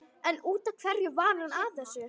En út af hverju var hún að þessu?